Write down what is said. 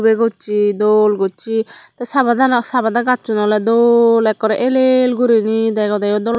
legoccho dol gocche tay sapadano sapada gacchun ole dol ekkore el el gurine degodeyo dol.